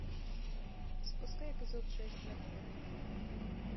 запускай эпизод шесть мертв для меня